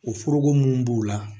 O foroko mun b'u la